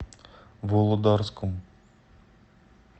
володарском